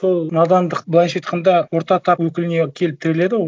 сол надандық былайша айтқанда орта тап өкіліне келіп тіреледі ғой